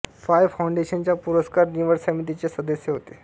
five फाउंडेशनच्या पुरस्कार निवड समितीचे ते सदस्य होते